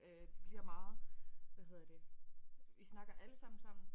Øh det bliver meget hvad hedder det I snakker alle sammen sammen